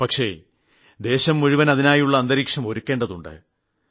പക്ഷേ ദേശം മുഴുവൻ അതിനുള്ള അന്തരീക്ഷം ഒരുക്കേണ്ടതുണ്ട്